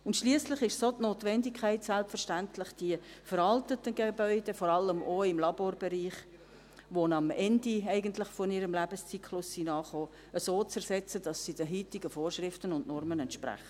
Und schliesslich ist es selbstverständlich auch die Notwendigkeit, die veralteten Gebäude – vor allem auch im Laborbereich –, die eigentlich am Ende ihres Lebenszyklus angekommen sind, so zu ersetzen, dass sie den heutigen Vorschriften und Normen entsprechen.